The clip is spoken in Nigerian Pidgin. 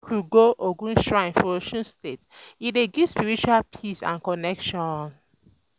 Make we um go Ogun shrine for Osun State, e dey give spiritual peace and connection.